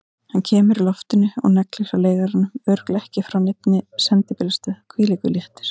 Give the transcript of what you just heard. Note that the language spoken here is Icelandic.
Hann kemur í loftinu og neglir hjá leigaranum, örugglega ekki frá neinni sendibílastöð, hvílíkur léttir!